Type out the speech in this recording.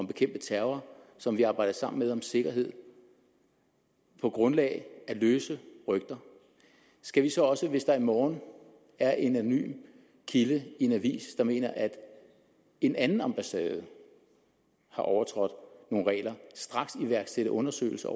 bekæmpe terror og som vi arbejder sammen med om sikkerhed på grundlag af løse rygter skal vi så også hvis der i morgen er en anonym kilde i en avis der mener at en anden ambassade har overtrådt nogle regler straks iværksætte undersøgelser